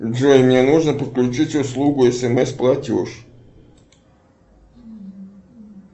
джой мне нужно подключить услугу смс платеж